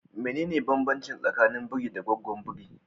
Mene ne banbancin tsakanin biri da gaggwon biri?